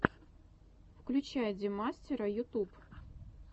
включай демастера ютуб